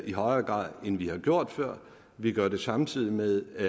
i højere grad end vi har gjort før vi gør det samtidig med at